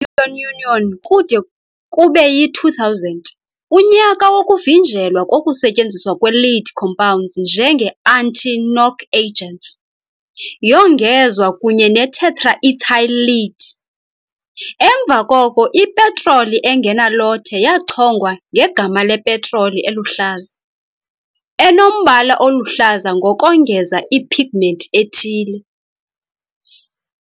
Kwi- European Union kude kube yi-2000, unyaka wokuvinjelwa kokusetyenziswa kwe -lead compounds njenge-anti-knock agents, yongezwa kunye ne -tetraethyl lead . Emva koko, i-petroli engenalothe yachongwa ngegama "lepetroli eluhlaza", enombala oluhlaza ngokongeza i-pigments ethile.